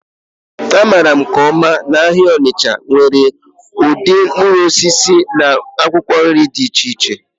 A maara nke ọma na ahịa Nnewi nwere ụdị mkpụrụ osisi na akwụkwọ nri dị iche iche